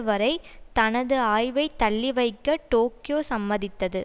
வரை தனது ஆய்வை தள்ளிவைக்க டோக்கியோ சம்மதித்தது